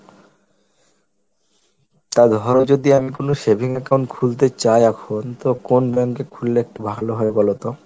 তা ধরো যদি আমি কোন savings account খুলতে চাই এখন তো কোন bank এ খুললে একটু ভালো হয় বলতো?